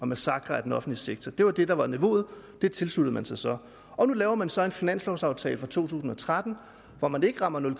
massakre af den offentlige sektor det var det der var niveauet og det tilsluttede man sig så og nu laver man så en finanslovaftale for to tusind og tretten hvor man ikke rammer nul